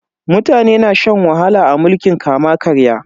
Mutane na shan wahala a mulkin kama-karya.